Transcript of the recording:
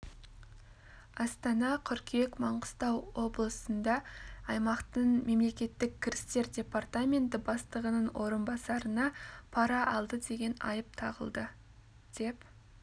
астана қыркүйек маңғыстау облысында аймақтың мемлекеттік кірістер департаменті бастығының орынбасарына пара алды деген айып тағылды деп